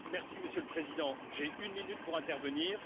Monsieur le Président, j'ai une minute pour intervenir.